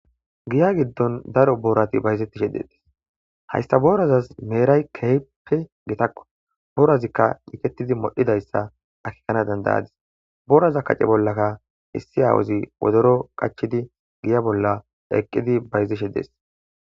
Giya giddon daro boorati bayzettishe detis hayssa boorazaz meeray kehpe gitakko boorazikka eketidi modhidayssa akikana dandayadis booraza kacce bollakka issi aawuzi wodoro qachidi giya bolla eqqidi bayzishe dees